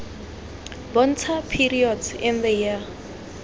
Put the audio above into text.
bontsha periods in the year